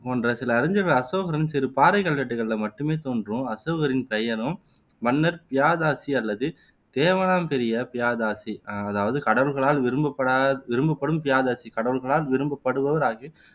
போன்ற சில அறிஞர்கள் அசோகரின் சிறு பாறைக் கல்வெட்டுக்களில மட்டுமே தோன்றும் அசோகரின் பெயரும், மன்னர் பியாதசி அல்லது தேவனாம்பிரிய பியாதாசி அதாவது கடவுள்களால் விரும்பப்படா விரும்பப்படும் பியாதசி கடவுள்களால் விரும்பப்படுபவராக